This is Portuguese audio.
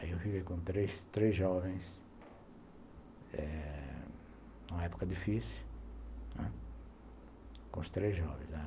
Aí eu fiquei com três jovens, eh numa época difícil, com os três jovens.